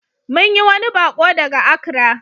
Mun yi wani baƙo daga Accra.